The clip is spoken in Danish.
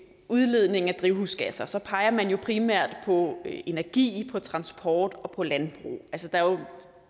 udledningen af drivhusgasser så peger man jo primært på energi på transport og på landbrug og